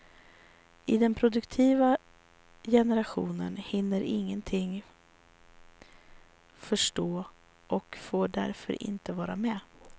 Den produktiva generationen hinner ingenting förstå och får därför inte vara med.